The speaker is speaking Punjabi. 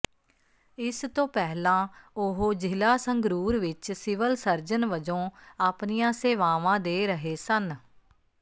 ਇਸ ਤੋਂ ਪਹਿਲਾਂ ਉਹ ਜ਼ਿਲ੍ਹਾ ਸੰਗਰੂਰ ਵਿੱਚ ਸਿਵਲ ਸਰਜਨ ਵਜੋਂ ਆਪਣੀਆਂ ਸੇਵਾਵਾਂ ਦੇ ਰਹੇ ਸਨ